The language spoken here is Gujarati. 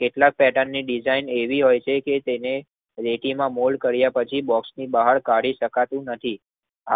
કેટલાક પેટર્ન ની ડિઝાઇન એવી હોય કે તેને પેટી માં મોલ કાર્ય પછી તેને બહાર કાઢી શકાતું નથીં